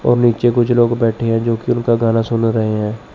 और नीचे कुछ लोग बैठे है जोकि उनका गाना सुन रहे है।